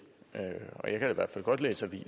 er sådan